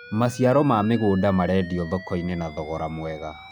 maciaro ma mĩgũnda marendio thoko-inĩ na thogora mwega